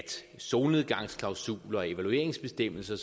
solnedgangsklausuler og evalueringsbestemmelser